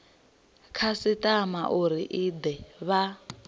khasitama uri i de vha